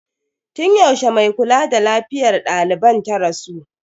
Tun yaushe mai kula da lafiyar daliban ta rasu?